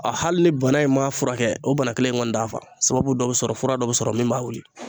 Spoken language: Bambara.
A hali ni bana in m'a furakɛ o bana kelen in kɔni d'a fa. Sababu dɔ be sɔrɔ fura dɔ be sɔrɔ min b'a wuli.